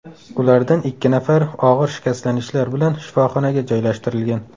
Ulardan ikki nafari og‘ir shikastlanishlar bilan shifoxonaga joylashtirilgan.